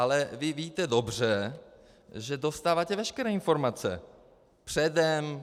Ale vy víte dobře, že dostáváte veškeré informace předem.